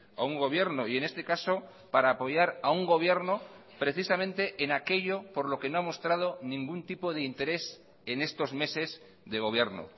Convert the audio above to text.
a un gobierno y en este caso para apoyar a un gobierno precisamente en aquello por lo que no ha mostrado ningún tipo de interés en estos meses de gobierno